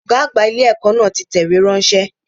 Ọ̀gá àgbà ilé ẹ̀kọ́ náà ti tẹ ìwé ránṣẹ́